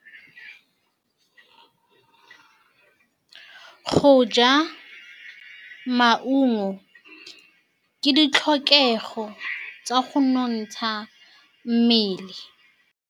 Go ja maungo ke ditlhokegô tsa go nontsha mmele.